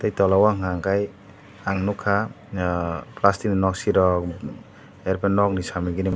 tai tola o unka ke ang nugkha plastic ni nok si rok ai pore nok ni sami gini.